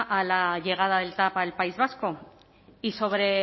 a la llegada del tav al país vasco y sobre